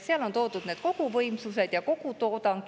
Seal on toodud need koguvõimsused ja kogutoodang.